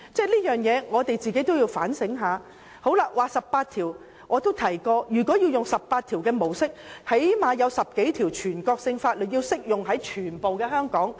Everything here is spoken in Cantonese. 至於第十八條，我也曾指出如果採用第十八條的模式，最少會有10多條全國性法律適用於香港。